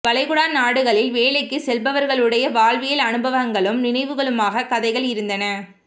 வளைகுடா நாடுகளில் வேலைக்குச் செல்பவர்களுடைய வாழ்வியல் அனுபவங்களும் நினைவுகளுமாகக் கதைகள் இருந்தன